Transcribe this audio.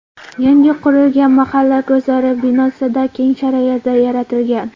Yangi qurilgan mahalla guzari binosida keng sharoitlar yaratilgan.